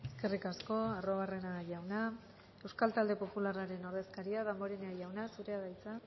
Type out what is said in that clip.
eskerrik asko arruabarrena jauna euskal talde popularraren ordezkaria damborenea jauna zurea da hitza